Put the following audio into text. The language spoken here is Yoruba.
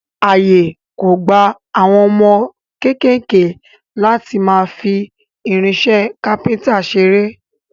Àyè kò gba àwọn ọmọ kéékèèké láti máa fi irinṣẹ́ kápẹ́ńtà ṣeré.